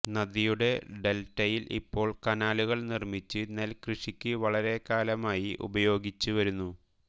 നദിയുടെ ഡെൽറ്റയിൽ ഇപ്പോൾ കനാലുകൾ നിർമ്മിച്ച് നെൽ കൃഷിക്ക് വളരെക്കാലമായി ഉപയോഗിച്ചുവരുന്നു